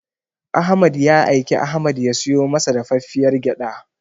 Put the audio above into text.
Ahmad ya aiki Ahmad ya siyo masa dafaffiyar gyaɗa.